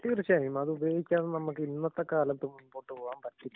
തീർച്ചയായും. അത് ഉപയോഗിക്കാതെ നമുക്ക് ഇന്നത്തെ കാലത്ത് മുന്നോട്ട് പോകാൻ പറ്റില്ല.